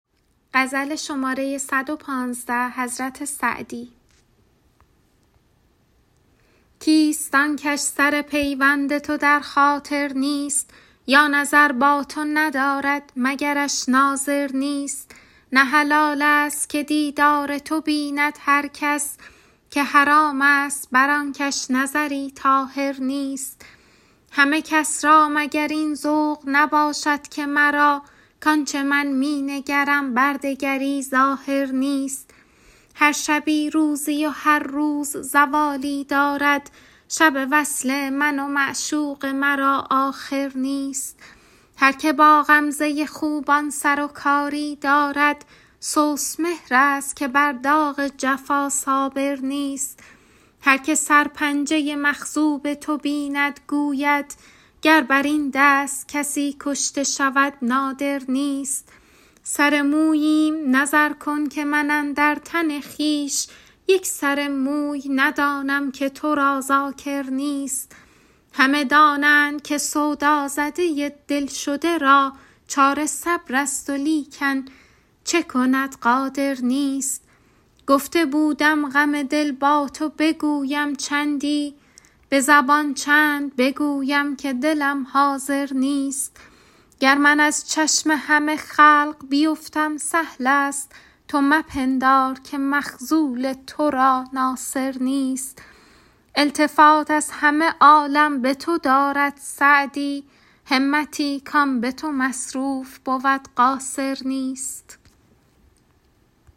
کیست آن کش سر پیوند تو در خاطر نیست یا نظر با تو ندارد مگرش ناظر نیست نه حلال ست که دیدار تو بیند هر کس که حرام ست بر آن کش نظری طاهر نیست همه کس را مگر این ذوق نباشد که مرا کآن چه من می نگرم بر دگری ظاهر نیست هر شبی روزی و هر روز زوالی دارد شب وصل من و معشوق مرا آخر نیست هر که با غمزه خوبان سر و کاری دارد سست مهرست که بر داغ جفا صابر نیست هر که سرپنجه مخضوب تو بیند گوید گر بر این دست کسی کشته شود نادر نیست سر موییم نظر کن که من اندر تن خویش یک سر موی ندانم که تو را ذاکر نیست همه دانند که سودازده دل شده را چاره صبرست ولیکن چه کند قادر نیست گفته بودم غم دل با تو بگویم چندی به زبان چند بگویم که دلم حاضر نیست گر من از چشم همه خلق بیفتم سهل ست تو مپندار که مخذول تو را ناصر نیست التفات از همه عالم به تو دارد سعدی همتی کآن به تو مصروف بود قاصر نیست